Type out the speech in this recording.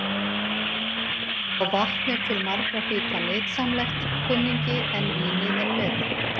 Já, vatn er til margra hluta nytsamlegt, kunningi, en vínið er betra.